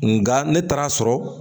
Nga ne taara a sɔrɔ